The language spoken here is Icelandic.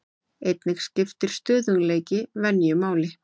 Einnig skiptir stöðugleiki venju máli.